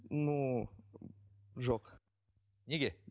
ну жоқ неге